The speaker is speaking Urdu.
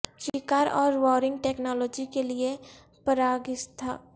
شکار اور وارینگ ٹیکنالوجی کے لئے پراگیتھاسک پتھر کے اوزار